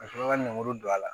Ka sɔrɔ ka lemuru don a la